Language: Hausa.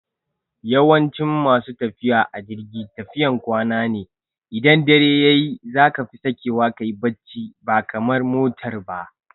Yawancin masu tafiya a jirgi tafiyan kwana ne, idan dare yayi zaka fi sakewa kayi bacci ba kamar motar ba